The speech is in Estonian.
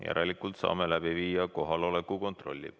Järelikult saame läbi viia kohaloleku kontrolli.